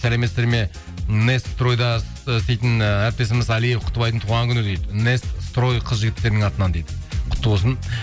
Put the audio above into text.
сәлеметсіздер ме нестройда істейтін ы әріптесіміз алиев құттыбайдың туған күні дейді нестрои қыз жігіттерінің атынан дейді құтты болсын